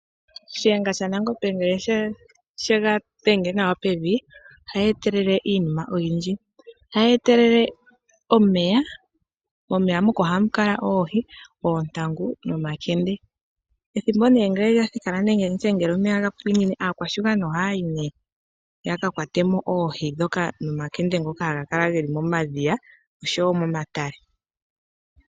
Shiyenga shaNangombe ngele shega dhenge nawa pevi, ohayi etelele iinima oyindji. Ohayi etelele omeya, momeya moka ohamu kala oohi, oontangu, nomakende. Omeya ngele gwapine aakwashigwana ohaya yi nduno yaka kwatemo oohi dhoka nomakende ngoka haga kala geli momadhiya noshowo momatale.